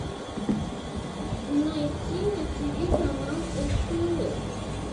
найти на тиви канал стс